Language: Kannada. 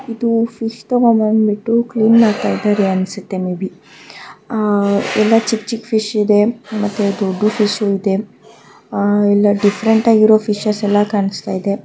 ಇದು ಫಿಶ್ ತಾಗುಂಡ್ ಬಿಟ್ಟು ಕ್ಲೀನ್ ಮಾಡ್ತಾ ಇದೆ ಅನಸ್ತೇ ಮೇ ಬಿ ಎಲ್ಲ ಚಿಕ್ ಚಿಕ್ ಫಿಶ್ ಇದೆ ಮತ್ತೆ ದೊಡ್ಚ್ ಫಿಷು ಇದೆ ಎಲ್ಲ ಡಿಫರೆಂಟ್ ಆಗಿರುವ ಫಿಶ್ಸ್ ಎಲ್ಲ ಕಾಣಿಸ್ತಾ ಇದೆ .